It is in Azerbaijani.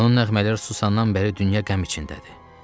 Onun nəğmələr susandan bəri dünya qəm içindədir.